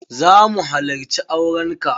Za mu halacci auren ka.